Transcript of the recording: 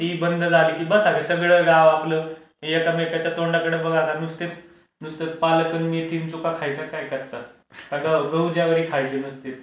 ती बंद झाली की बसा सगळं गाव आपलं एकमेकांच्या तोंडाकडे बघा आता नुसते पालक अन मेथी अन चोखा खायचा काय कच्चा? का गहू जवारी खायची नुसती?